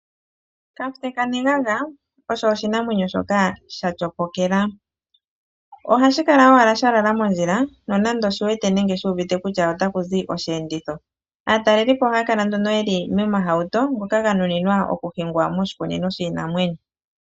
Kafute kaneganga osho oshinamwenyo shoka shatyopokela. Ohashi kala owala shalala mondjila nonando oshiwete nenge shuuvite kutya otaku zi osheenditho. Aatalelipo ohaya kala nduno yeli momahauto ngoka ganuninwa okuhingwa moshikunino shiinamwenyo.